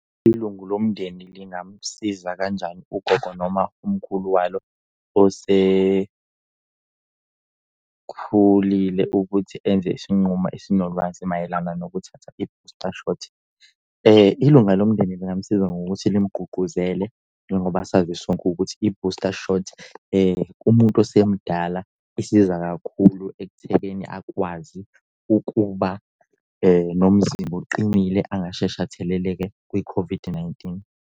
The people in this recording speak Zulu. Ilungu lomndeni lingamsiza kanjani ugoqo noma umkhulu walo osekhulile ukuthi enze isinqumo esinolwazi mayelana nokuthatha i-booster shot? Ilunga lomndeni lingamusiza ngokuthi limgqugquzele njengoba sazi sonke ukuthi i-booster shot kumuntu osemdala isiza kakhulu ekuthekeni akwazi ukuba nomzimba oqinile angasheshi atheleleke kwi-COVID-19.